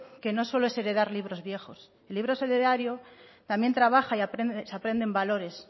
que no solo es heredar libros viejos el libro solidario también trabaja y se aprenden valores